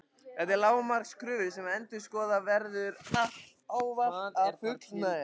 Þetta eru lágmarkskröfur sem endurskoðendur verða ávallt að fullnægja.